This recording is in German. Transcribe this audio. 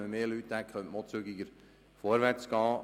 Hätte man mehr Leute, könnte man auch zügiger vorwärtsgehen.